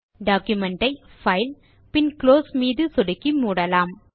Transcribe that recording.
document ஐ file பின் close மீது சொடுக்கி மூடலாம்